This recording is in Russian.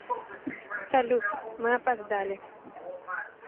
салют мы опоздали